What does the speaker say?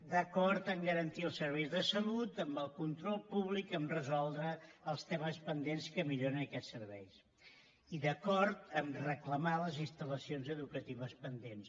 d’acord a garantir els serveis de salut amb el control públic a resoldre els temes pendents que milloren aquests serveis i d’acord a reclamar les instal·lacions educatives pendents